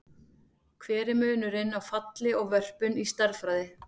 Hver er munurinn á falli og vörpun í stærðfræði?